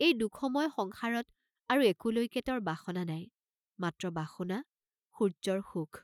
এই দুখময় সংসাৰত আৰু একোলৈকে তেওঁৰ বাসনা নাই, মাত্ৰ বাসনা 'সূৰ্য্যৰ সুখ'।